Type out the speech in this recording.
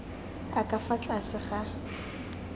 a ka fa tlase ga